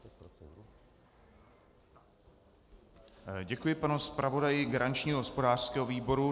Děkuji panu zpravodaji garančního hospodářského výboru.